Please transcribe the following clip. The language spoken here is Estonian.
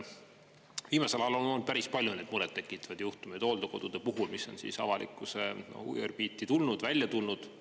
Viimasel ajal on olnud päris palju neid murettekitavaid juhtumeid hooldekodude puhul, mis on avalikkuse huviorbiiti tulnud, välja tulnud.